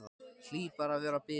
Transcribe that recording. Hlýt bara að vera að bilast.